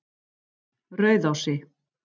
Rauðási